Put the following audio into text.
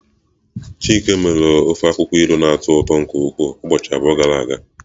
Chike mere. Ofe akwukwo ilu na-atọ ụtọ nke ukwuu ụbọchị abụọ gara aga.